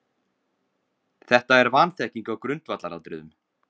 Þetta er vanþekking á grundvallaratriðum.